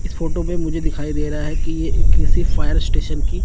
इस फोटो में मुझे दिखाई दे रहा कि ये किसी फायर स्टेशन की--